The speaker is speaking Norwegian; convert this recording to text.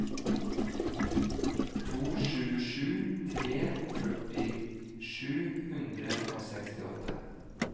to sju sju tre førti sju hundre og sekstiåtte